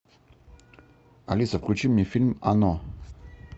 алиса включи мне фильм оно